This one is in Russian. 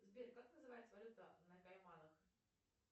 сбер как называется валюта на кайманах